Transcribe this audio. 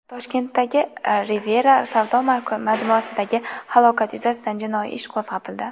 Toshkentdagi Riviera savdo majmuasidagi halokat yuzasidan jinoiy ish qo‘zg‘atildi.